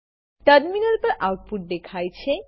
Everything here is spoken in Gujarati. ટર્મિનલ પર આઉટપુટ દેખાય છે